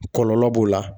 Kɔlɔlɔ b'o la